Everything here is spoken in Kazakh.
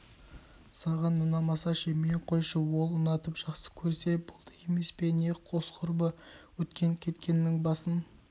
саған ұнамаса ше мен қойшы ол ұнатып жақсы көрсе болды емес пе қос құрбы өткен-кеткеннің басын